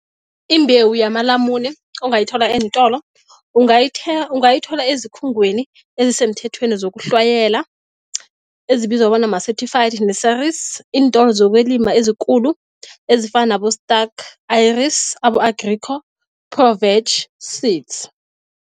Imbewu yamalamune ongayithola eentolo ungayithola ezikhungweni ezisemthethweni zokuhlwayela ezibizwa bona ma-certified messersi iintolo zokwelima ezikulu ezifana nabo-Starke Ayres abo-Agrico Pro-Veg Seeds.